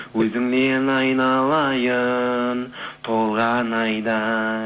өзіңнен айналайын толған